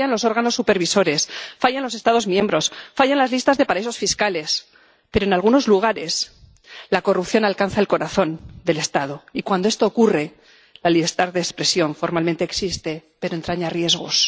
que fallan los órganos supervisores, fallan los Estados miembros, fallan las listas de paraísos fiscales. Pero, en algunos lugares, la corrupción alcanza el corazón del Estado y, cuando esto ocurre, la libertad de expresión formalmente existe, pero entraña riesgos.